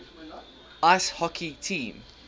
ice hockey team